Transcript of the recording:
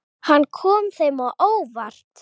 Hann kom þeim á óvart.